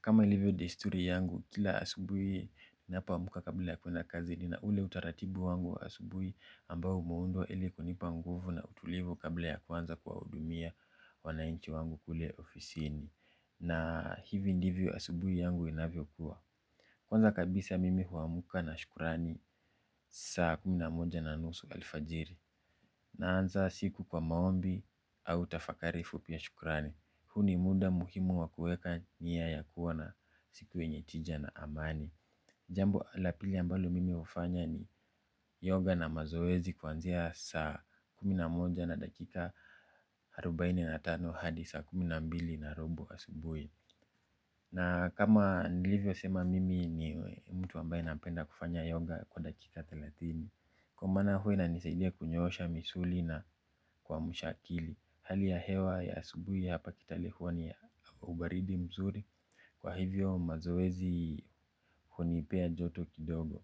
Kama ilivyo desturi yangu, kila asubuhi napo amka kabla ya kwenda kazi ni na ule utaratibu wangu wa asubui ambao umeundwa ili kunipa nguvu na utulivu kabla ya kuanza kuwahudumia wanainchi wangu kule ofisini. Na hivi ndivyo asubuhi yangu inavyokuwa kwanza kabisa mimi huamka na shukurani saa kumi na moja na nusu alfajiri. Naanza siku kwa maombi au tafakari fupi ya shukrani. Huu ni muda muhimu wa kuweka niya ya kuwa na siku yenye tija na amani jambo la pili ambalo mimi hufanya ni yoga na mazoezi kwanzia saa kumi na moja na dakika arubaini na tano hadi saa kumi na mbili na robo asubuhi na kama nilivyo sema mimi ni mtu ambaye napenda kufanya yoga kwa dakika thelathini kwa maana huwa inanisaidia kunyoosha misuli na kuamsha akili hali ya hewa ya asubuhi hapa kitale huwa ni ya ubaridi mzuri kwa hivyo mazoezi hunipea joto kidogo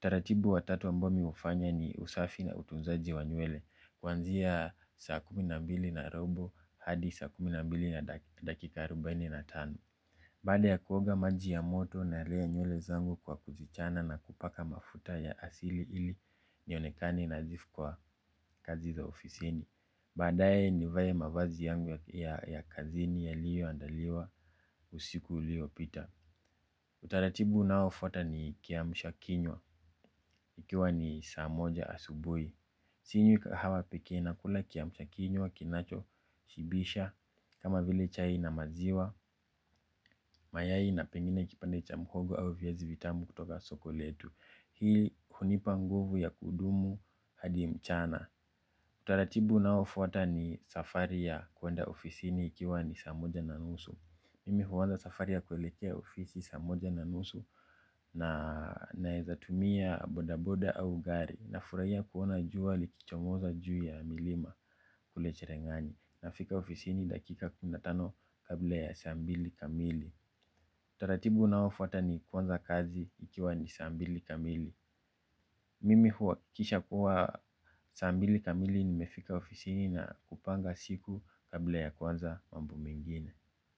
taratibu wa tatu ambao mi hufanya ni usafi na utunzaji wa nywele kwanzia saa kumi na mbili na robo hadi saa kumi na mbili na dakika arubaini na tano baada ya kuoga maji ya moto na lea nywele zangu kwa kuzichana na kupaka mafuta ya asili ili ionekane nadhifu kwa kazi za ofisini baadaye nivae mavazi yangu ya ya kazini yaliyo andaliwa usiku uliyopita utaratibu unao fuata ni kiamshakinywa ikiwa ni saa moja asubuhi. Sinywi kahawa pekee na kula kiamsha kinywa kinacho shibisha kama vile chai na maziwa mayai na pengine kipande cha mhogo au viazi vitamu kutoka soko letu hili hunipa nguvu ya kudumu hadi mchana utaratibu unaofuata ni safari ya kwenda ofisini ikiwa ni saa moja na nusu mimi huanza safari ya kuelekea ofisi saa moja na nusu na naezatumia bodaboda au gari na furahia kuona jua likichomoza juu ya milima kulecherengani na fika ofisini dakika kumi na tano kabla ya saa mbili kamili utaratibu unaofuata ni kuanza kazi ikiwa ni saa mbili kamili mimi huwa kisha kuwa saa mbili kamili nimefika ofisini na kupanga siku kabla ya kwanza mambo mengine.